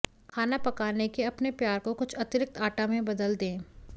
खाना पकाने के अपने प्यार को कुछ अतिरिक्त आटा में बदल दें